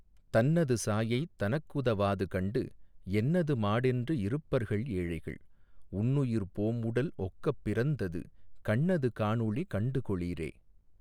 தன்னது சாயை தனக்குதவாதுகண்டு என்னது மாடென்று இருப்பர்கள் ஏழைகள் உன்னுயிர் போம்உடல் ஒக்கப் பிறந்தது கண்ணது காணொளி கண்டுகொளீரே.